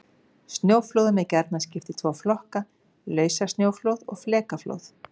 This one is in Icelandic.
Snjóflóðum er gjarnan skipt í tvo flokka: Lausasnjóflóð og flekaflóð.